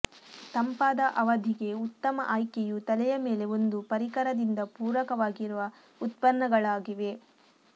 ತಂಪಾದ ಅವಧಿಗೆ ಉತ್ತಮ ಆಯ್ಕೆಯು ತಲೆಯ ಮೇಲೆ ಒಂದು ಪರಿಕರದಿಂದ ಪೂರಕವಾಗಿರುವ ಉತ್ಪನ್ನಗಳಾಗಿವೆ